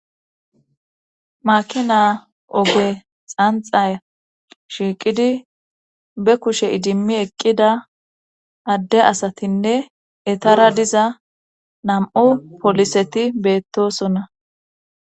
makina oge xanxa shiiqidi be kushe idimmi eqqida adde asatinne etara diza nam7u poliseti beettosonna